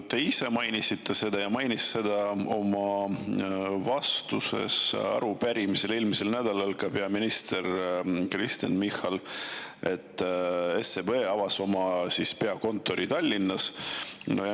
Te ise mainisite seda ja oma vastuses arupärimisele mainis seda eelmisel nädalal ka peaminister Kristen Michal, et SEB avab oma peakontori Tallinnas.